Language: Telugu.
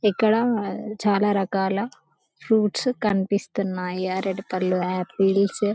ఇక్కడ చాలా రకాల ఫ్రూట్స్ కనిపిస్తున్నాయి రెడ్ కలర్ ఆపిల్స్